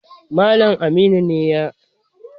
Malam Aminu ne ya